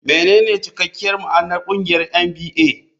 Menene cikakken ma'anar ƙungiyar NBA?